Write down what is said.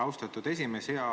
Austatud esimees!